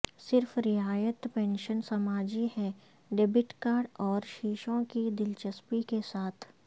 صرف رعایت پنشن سماجی ہے ڈیبٹ کارڈ اوشیشوں کی دلچسپی کے ساتھ